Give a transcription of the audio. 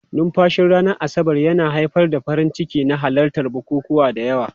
Numfashin ranar Asabar yana haifar da farin ciki na halartar bukukuwa da yawa.